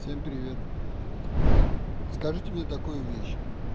всем привет вот скажите мне такую вещь